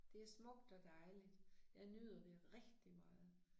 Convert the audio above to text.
Det smukt og dejligt. Jeg nyder det rigtig meget